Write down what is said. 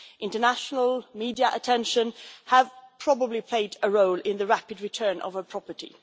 International media attention probably played a role in the rapid return of her property.